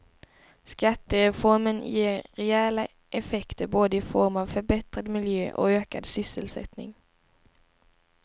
Skattereformen ger rejäla effekter både i form av förbättrad miljö och ökad sysselsättning.